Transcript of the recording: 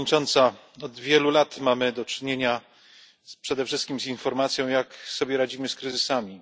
Pani Przewodnicząca! Od wielu lat mamy do czynienia przede wszystkim z informacją, jak sobie radzimy z kryzysami.